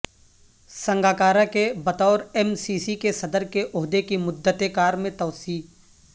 سنگاکارا کے بطور M C C کے صدر کے عہدے کی مدت کار میں توسیع